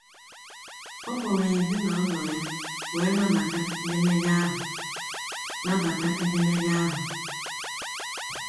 Ọ kpọrọ ezi na ụlọ ya wee nabata edemede ahụ. nabata edemede ahụ.